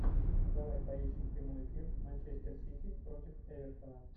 давай поищем прямой эфир манчестер сити против эвертона